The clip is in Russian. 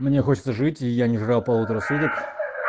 мне хочется жить и я не жрал полутора суток